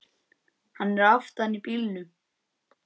Hann er aftan í bílnum!